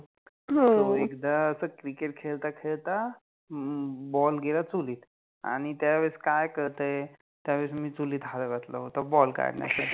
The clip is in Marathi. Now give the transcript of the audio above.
हो अ, एकदा अस Cricket खेळता खेळता अम्म Ball गेला चुलित, आणि त्यावेळेस काय कळते, त्यावेळेस मि चुलित हाथ घातला होता Ball काढन्यासाठि